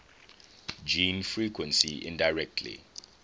gene frequency indirectly